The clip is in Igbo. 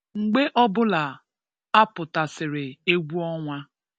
Mgbe ọ bụla a pụtasịrị egwu ọnwa